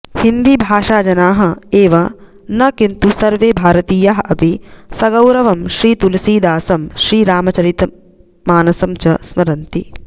हिन्दी भाषाजनाः एव न किन्तु सर्वे भारतीयाः अपि सगौरवं श्रीतुलसीदासं श्रीरामचरि मानसं च स्मरन्ति